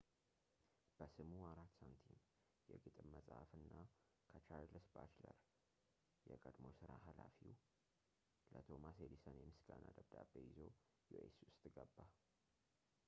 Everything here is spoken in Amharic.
በስሙ 4 ሳንቲም፣ የግጥም መፅሐፍ እና ከቻርልስ ባችለር የቀድሞ ስራው ኃላፊ ለቶማስ ኤዲሰን የምስጋና ደብዳቤ ይዞ ዩኤስ ውስጥ ገባ